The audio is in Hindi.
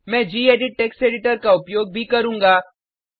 मैं गेडिट टेक्स्ट एडिटर का उपयोग भी करूँगा